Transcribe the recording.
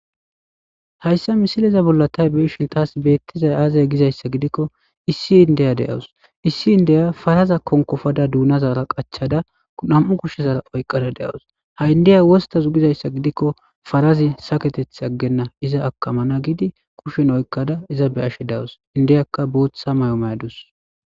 Hayssa misileza bollatay beeshin taas beettizay aazay gizayssa gidikko issi indeya de'awus issi indeya faraza kon kofada duunazara qachada nam'u kushshezara oyqada de'awus ha'indeya wostazu gizayssa gidikko farazi saketeth aggenna iza akamana giidi kushen oykada iza be ashshe dawus indeyakka bootha mayomeyadus.